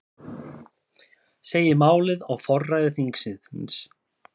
Segir málið á forræði þingsins